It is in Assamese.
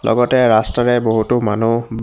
লগতে ৰাস্তাৰে বহুতো মানুহ উম --